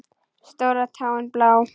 Stóra táin blá.